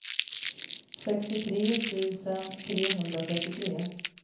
sextiotre tusen trehundratrettiotre